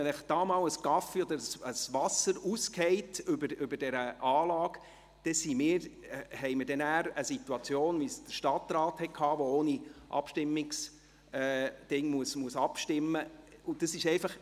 Wenn Ihnen einmal ein Becher mit Kaffee oder Wasser auf die Anlage fällt, dann haben wir eine Situation, wie der Stadtrat sie hatte, als er ohne Abstimmungsanlage abstimmen musste.